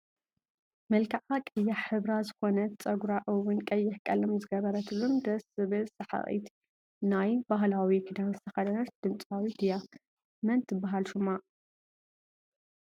መልክዓ ቀያሕ ሕብራ ዝኮነት ፀጉራ እውን ቀይሕ ቀለም ዝገበረትሉን ደስ ትብል ስሓቂት ናይ ብሃላዊ ክዳን ዝተከደነትን ድምፃዊት እያ። መን ትብሃል ሹማ?